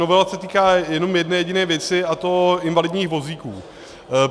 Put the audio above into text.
Novela se týká jenom jedné jediné věci, a to invalidních vozíků.